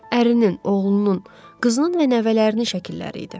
Ərinin, oğlunun, qızının və nəvələrinin şəkilləri idi.